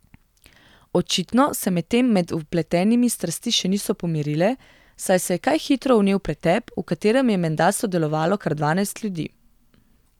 Očitno se medtem med vpletenimi strasti še niso pomirile, saj se je kaj hitro vnel pretep, v katerem je menda sodelovalo kar dvanajst ljudi.